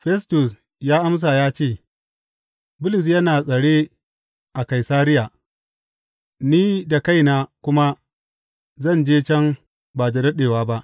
Festus ya amsa ya ce, Bulus yana tsare a Kaisariya, ni da kaina kuma zan je can ba da daɗewa ba.